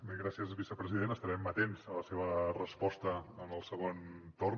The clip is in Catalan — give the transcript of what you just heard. bé i gràcies vicepresident estarem atents a la seva resposta en el segon torn